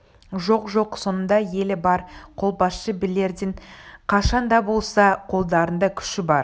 жоқ-жоқ соңында елі бар қолбасшы билердің қашан да болса қолдарында күші бар